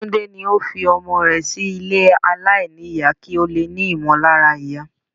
Túndé ní òun fi ọmọ rẹ sí ilé aláìníyà kí ó lè ní ìmọ̀lára ìyá.